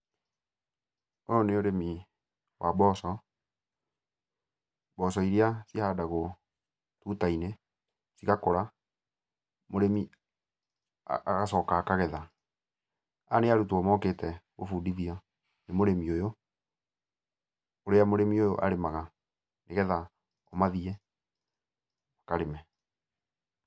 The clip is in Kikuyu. Ũyũ nĩ ũrĩmi wa mboco. Mboco iria cihandagũo tuta-inĩ cigakũra, mũrĩmi agacoka akagetha. Aya nĩ arutwo mokĩte kũbundithio nĩ mũrĩmi ũyũ, ũrĩa mũrĩmi ũyũ arĩmaga nĩgetha mathiĩ karĩme.